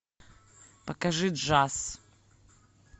покажи джаз